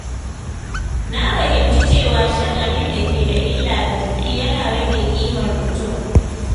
Na fahimci cewa shan abin da ke da illa ga jiki yana rage ƙimar mutum.